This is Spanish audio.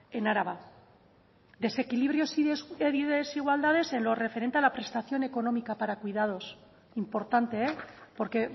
en araba desequilibrios y desigualdades en lo referente a la prestación económica para cuidados importante porque